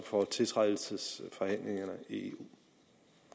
for tiltrædelsesforhandlingerne i